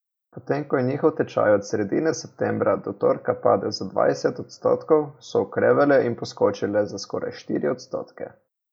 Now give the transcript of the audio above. Potem ko je njihov tečaj od sredine septembra do torka padel za dvajset odstotkov, so okrevale in poskočile za skoraj štiri odstotke.